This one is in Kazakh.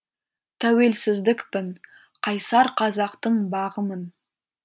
тәуелсіздікпін қайсар қазақтың бағымын